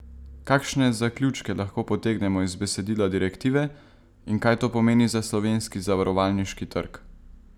Kakšne zaključke lahko potegnemo iz besedila direktive in kaj to pomeni za slovenski zavarovalniški trg?